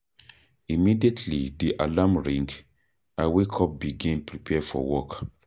Immediately di alarm ring, I wake up begin prepare for work.